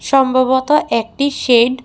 সম্ভবত একটি শেড --